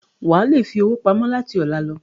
Wà á le fi owó pamọ́ láti ọ̀la lọ.